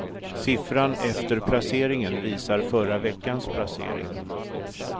Siffran efter placeringen visar förra veckans placering.